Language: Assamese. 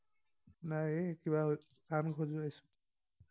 নাই এই কিবা কাণ খজুৱাইছো।